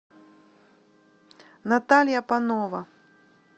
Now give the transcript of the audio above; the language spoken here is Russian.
наталья панова